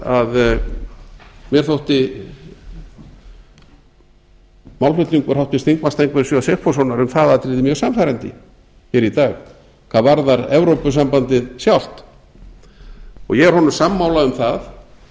að mér þótti málflutningur háttvirtur þingmaður steingríms j sigfússonar um það atriði mjög sannfærandi hér í dag hvað varðar evrópusambandið sjálft ég er honum sammála um að